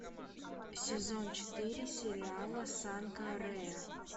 сезон четыре сериала санка рэа